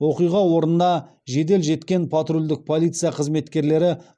оқиға орнына жедел жеткен патрульдік полиция қызметкерлері